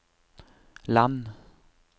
land